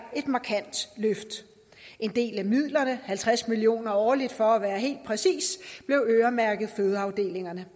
et markant løft en del af midlerne halvtreds million kroner årligt for at være helt præcis blev øremærket fødeafdelingerne